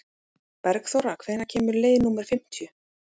Bergþóra, hvenær kemur leið númer fimmtíu?